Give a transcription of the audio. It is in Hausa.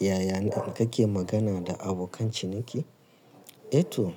Yaya kake magana da abokan ciniki? Eh to,